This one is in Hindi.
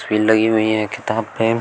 भीड़ लगी हुई हैं किताब